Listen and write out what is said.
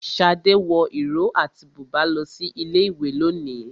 Shade wọ ìró àti bùbá lọ sí ilé ìwé lónìí.